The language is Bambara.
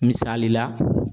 Misali la.